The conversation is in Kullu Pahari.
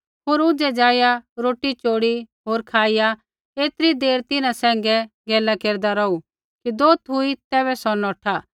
होर ऊझै ज़ाइआ रोटी चोड़ी होर खाईया ऐतरी देर तिन्हां सैंघै गैला केरदा रौहू कि दोत हुई तैबै सौ नौठा